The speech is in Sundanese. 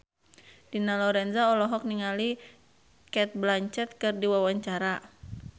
Dina Lorenza olohok ningali Cate Blanchett keur diwawancara